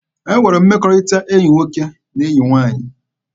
E nwere mmekọrịta enyi nwoke na enyi nwaanyị.